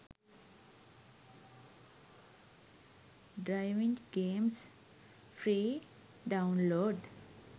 driving games free download